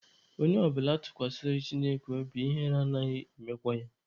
Onye ọbụla tụkwasara Chineke obi, ihere anaghị emekwa ya.